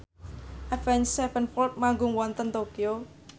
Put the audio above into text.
Avenged Sevenfold manggung wonten Tokyo